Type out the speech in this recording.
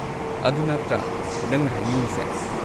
ꯑꯗꯨ ꯅꯠꯇ꯭ꯔꯥ ꯅꯪꯅ ꯍꯥꯏꯅꯤꯡꯂꯤꯁꯦ꯫